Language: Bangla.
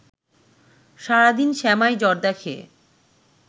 সারাদিন সেমাই জর্দা খেয়ে